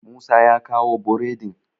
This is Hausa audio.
musa ya kawo boredin?